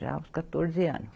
Já aos quatorze ano.